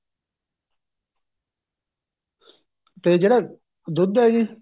ਤੇ ਜਿਹੜਾ ਦੁੱਧ ਹੈ ਜੀ